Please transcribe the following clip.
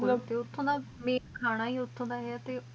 T ਉਠਉਣ ਦਾ ਖਾਨ ਟੀ ਹੁਥੁ ਦਾ ਹੈਂ